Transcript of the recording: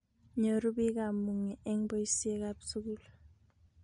Nyoruu biik kamung'e eng boisie ak sukul.